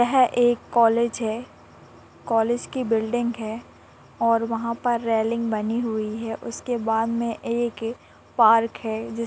यह एक कॉलेज है। कॉलेज की बिल्डिंग है और वहा पर रेलिंग बनी हुई है उसके बाद मे एक- पार्क है जिस--